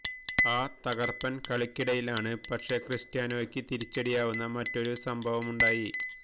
ആ തകര്പ്പന് കളിക്കിടയില് ആണ് പക്ഷെ ക്രിസ്റ്റ്യാനോയ്ക്ക് തിരിച്ചടിയാവുന്ന മറ്റൊരു സംഭവവുമുണ്ടായി